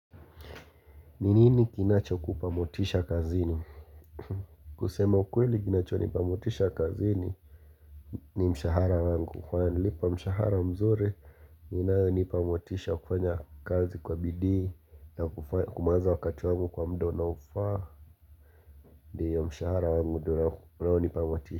Ni nini kinachokupa motisha kazini? Kusema ukweli kinachonipa motisha kazini ni mshahara wangu, wananilipa mshahara mzuri inayonipa motisha kufanya kazi kwa bidi na kumaliza wakati wangu kwa muda unaofaa Ndiyo mshahara wangu unaonipa motisha.